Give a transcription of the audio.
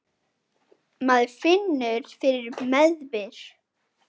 Maður finnur fyrir meðbyr.